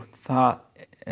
það